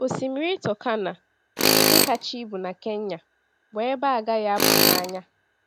Osimiri Turkana, nke kacha ibu na Kenya, bụ ebe a gaghị apụ n’anya.